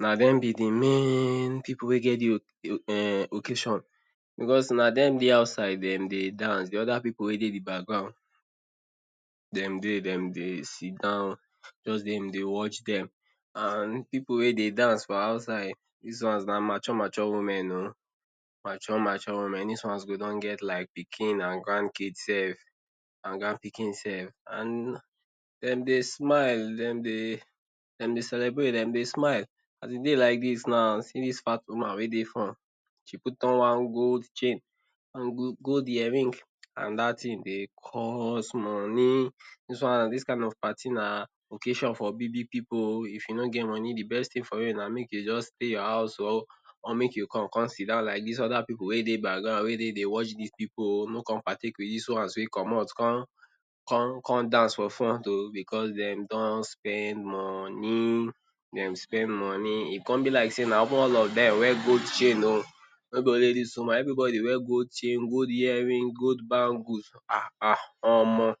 na dem be de main pipu wey get de occasion because na dem Dey outside dem Dey dance de oda pipu wey Dey de background dem Dey dem dey sitdown Dey watch dem and pipu wey Dey dance for outside dis once na mature mature women oo mature mature women dis once go don get like pikin and grandkids sef and grand pikin sef and dem Dey smile dem Dey celebrate dem Dey smile dem Dey celebrate dem Dey smile as e Dey like dis now see dis fat woman wey Dey front wey wear one gold chain and gold earring and dat thing Dey cost money dis one dis kind of party na occasion for big big pipu oo if you ko get money de best thing na make you just stay your house or make you come come sitdown like dis oda pipu wey Dey background wey Dey Dey watch dis pipu ooo no come partake with dis once wey commot come come dance for front oo because dem don spend money dem spend money e come be like sey na even all of dem wear gold chain oo no be only dis woman everybody wear gold chain gold earring gold bangle ah ah omo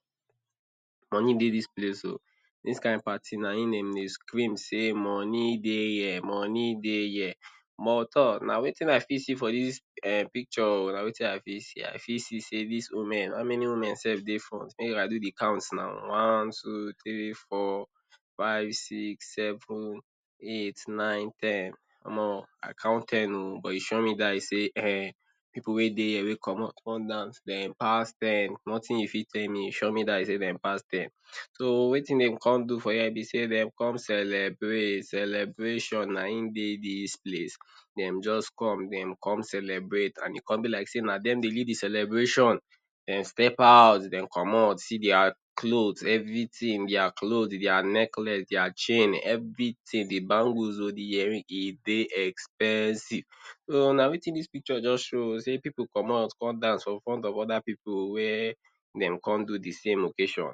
money Dey dis place oo dis kin party na im dem Dey scream sey money Dey here money Dey here mon tor na wetin I fit see for dis um picture oo na wetin I fit see I fit see sey dis women how many women sef Dey front sef make I fit count now one, two, three ,four, five ,six ,seven ,eight ,nine, ten omo I count ten oo but e sure me die sey[um]pipu wey Dey here wey commot come dance dem pass ten nothing you fit tell me e sure me die sey dem pass ten so wetin dem come do for here be sey dem come celebrate, celebration na im Dey dis place dem just come dem come celebrate and e con be like sey na dem Dey lead de celebration dem step out dem commot see dia cloth everything dia cloth dia necklace dia chain everything de bangles oo de earring e Dey expensive so na wetin dis picture just show oo sey pipu commot come dance for front of oda pipu oo wey dem come do the same occasion.